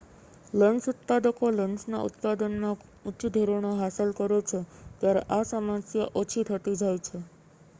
lens ઉત્પાદકો લેન્સના ઉત્પાદનમાં ઉચ્ચ ધોરણો હાંસલ કરે છે ત્યારે આ સમસ્યા ઓછી થતી જાય છે